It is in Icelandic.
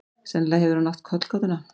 Sennilega hefur hann átt kollgátuna.